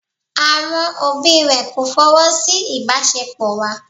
Àwọn òbí rẹ̀ kò fọwọ́ sí ìbáṣepọ̀ wa.